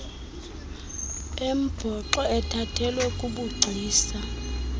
embhoxo ethathelwe kubugcisa